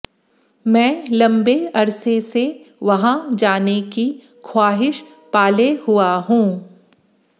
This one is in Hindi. मैं लंबे अरसे से वहां जाने की ख्वाहिश पाले हुआ हूं